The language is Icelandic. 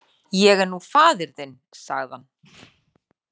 Ég er nú faðir þinn, sagði hann.